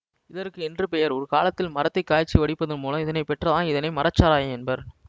இதற்கு என்று பெயர் ஒரு காலத்தில் மரத்தை காய்ச்சி வடிப்பது மூலம் இதனை பெற்றாதால் இதனை மரச்சாராயம் என்பர்